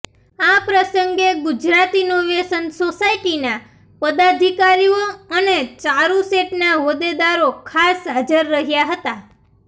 આ પ્રસંગે ગુજરાત ઈનોવેશન સોસાયટીના પદાધિકારીઓ અને ચારૂસેટના હોદ્દેદારો ખાસ હાજર રહ્યા હતા